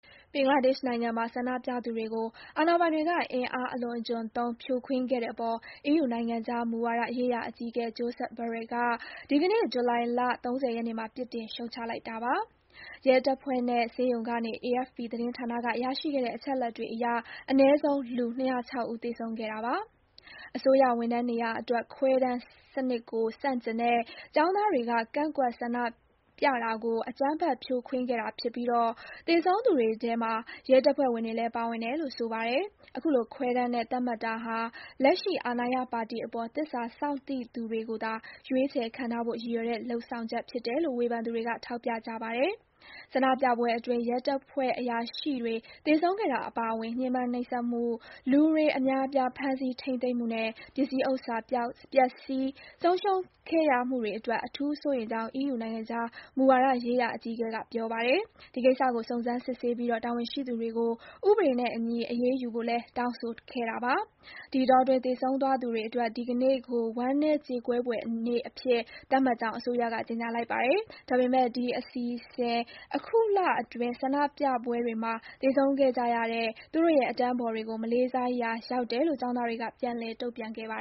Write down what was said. ဘင်္ဂလားဒေ့ရှ်နိုင်ငံမှာ ဆန္ဒပြသူတွေကို အာဏာပိုင်တွေက အင်အားအလွန်အကျွံသုံး ဖြိုခွင်းခဲ့တဲ့အပေါ် EU နိုင်ငံခြားမူဝါဒရေးရာအကြီးအကဲ Josep Borrell က ဒီကနေ့ ဇူလိုင် ၃၀ ရက်နေ့မှာ ပြစ်တင် ရှုတ်ချလိုက်ပါတယ်။ ရဲတပ်ဖွဲ့နဲ့ ဆေးရုံကနေ AFP သတင်းဌာနက ရရှိခဲ့တဲ့ အချက်အလက်တွေအရ အနည်းဆုံး လူ ၂၀၆ ဦး သေဆုံးခဲ့တာပါ။ အစိုးရဝန်ထမ်းနေရာအတွက် ခွဲတမ်းစနစ်ကို ဆန့်ကျင်တဲ့ ကျောင်းသားတွေက ကန့်ကွက်ဆန္ဒပြတာကို အကြမ်းဖက် ဖြိုခွင်းခဲ့တာဖြစ်ပြီး သေဆုံးသူတွေထဲ ရဲတပ်ဖွဲ့ဝင်တွေလည်း ပါဝင်တယ်လို့ ဆိုပါတယ်။ အခုလို ခွဲတမ်းနဲ့သတ်မှတ်တာဟာ လက်ရှိအာဏာရပါတီအပေါ် သစ္စာစောင့်သိသူတွေကိုသာ ရွေးချယ် ခန့်ထားဖို့ ရည်ရွယ်တဲ့ လုပ်ဆောင်ချက်ဖြစ်တယ်လို့ ဝေဖန်သူတွေက ထောက်ပြကြပါတယ်။ ဆန္ဒပြပွဲအတွင်း ရဲတပ်ဖွဲ့အရာရှိတွေ သေဆုံးခဲ့တာအပါအဝင် ညှဉ်းပန်းနှိပ်စက်မှု၊ လူအများအပြား ဖမ်းဆီး ထိန်းသိမ်းမှုနဲ့ ပစ္စည်းဥစ္စာ ပျက်ဆီး ဆုံးရှုံးခဲ့ရမှုတွေအတွက် အထူးစိုးရိမ်ကြောင်း EU နိုင်ငံခြားမူဝါဒရေးရာအကြီးအကဲ Borrell က ပြောပါတယ်။ ဒီကိစ္စကို စုံစမ်းစစ်ဆေးပြီး တာဝန်ရှိသူတွေကို ဥပဒေနဲ့အညီ အရေးယူဖို့လည်း တောင်းဆိုခဲ့တာပါ။ ဒီအတောအတွင်း သေဆုံးသွားသူတွေအတွက် ဒီကနေ့ကို ဝမ်းနည်း ကြေကွဲဖွယ်နေ့အဖြစ် သတ်မှတ်ကြောင်း အစိုးရက ကြေညာလိုက်ပါတယ်။ ဒါပေမယ့် ဒီအစီအစဉ်ဟာ အခုလအတွင်း ဆန္ဒပြပွဲတွေမှာ သေဆုံးခဲ့ကြရတဲ့ သူတို့ရဲ့ အတန်းဖော်တွေကို မလေးစားရာရောက်တယ်လို့ ကျောင်းသားတွေက ပြန်လည် တုံ့ပြန်ခဲ့ပါ